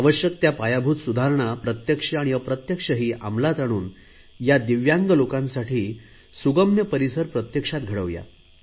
आवश्यक त्या पायाभूत सुधारणा प्रत्यक्ष आणि अप्रत्यक्षही अंमलात आणून या दिव्यांग लोकांसाठी सुगम्य परिसर प्रत्यक्षात घडवूया